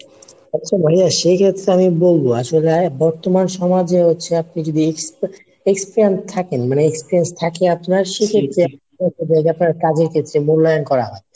আচ্ছা ভাইয়া সেক্ষেত্রে আমি বলবো আসলে আয় বর্তমান সমাজে হচ্ছে আপনি যদি expect experien থাকেন মানে experience থাকে আপনার সেক্ষেত্রে আপনার কাজের ক্ষেত্রে মূল্যায়ন করা হয়।